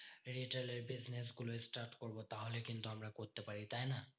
Retail এর business গুলো start করবো তাহলে কিন্তু আমরা করতে পারি, তাইনা?